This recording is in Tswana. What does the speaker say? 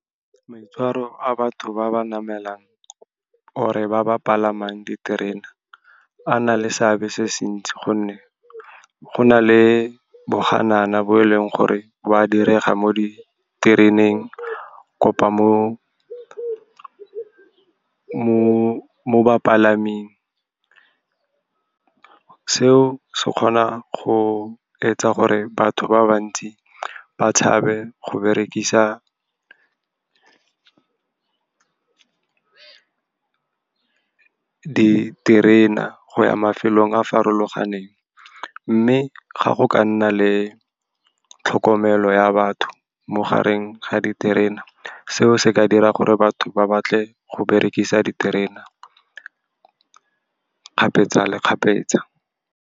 Maitshwaro a batho ba ba namelang or-e ba ba palamang diterena a na le seabe se se ntsi, gonne go na le boganana bo e leng gore ba direga mo ditereneng kapa mo bapalaming. Seo se kgona go etsa gore batho ba bantsi ba tshabe go berekisa diterena go ya mafelong a a farologaneng. Mme ga go ka nna le tlhokomelo ya batho mo gareng ga diterena, seo se ka dira gore batho ba batle go berekisa diterena kgapetsa le kgapetsa.